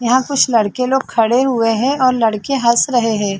यहाँ कुछ लड़के लोग खड़े हुए है और लड़के हस रहे है।